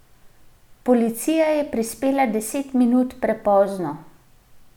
Policija je prispela deset minut prepozno.